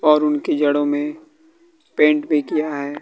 और उनकी जड़ों में पेंट भी किया है।